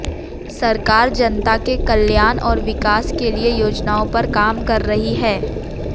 सरकार जनता के कल्याण और विकास के लिए योजनाओं पर काम कर रही है